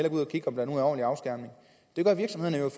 ud og kigge om der nu er ordentlig afskærmning det gør virksomhederne